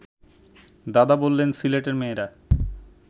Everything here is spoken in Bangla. দাদা বললেন সিলেটের মেয়েরা